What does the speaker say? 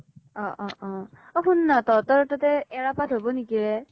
অ অ অ, অ সুনা তহতৰ তাতে এৰা পাত হব নেকি এ ?